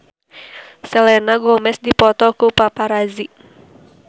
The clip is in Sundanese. Selena Gomez dipoto ku paparazi